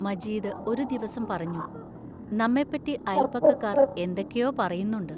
മജീദ് ഒരു ദിവസം പറഞ്ഞു: നമ്മെപ്പറ്റി അയൽപക്കക്കാർ എന്തൊക്കെയോ പറയുന്നുണ്ട്.